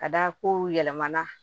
Ka da kow yɛlɛmana